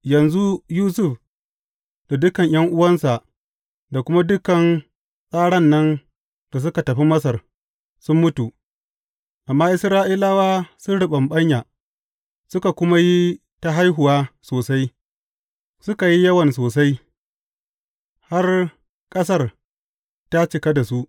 Yanzu Yusuf da dukan ’yan’uwansa da kuma dukan tsaran nan da suka tafi Masar, sun mutu, amma Isra’ilawa sun riɓaɓɓanya, suka kuma yi ta haihuwa sosai, suka yi yawan sosai, har ƙasar ta cika da su.